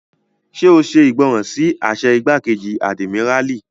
Ṣé o ṣe ìgbọràn sí àṣẹ igbákejì àdìmíràlí?